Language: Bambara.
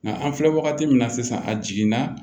Nka an filɛ wagati min na sisan a jiginna